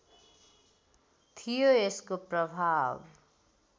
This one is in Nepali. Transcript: थियो यसको प्रभाव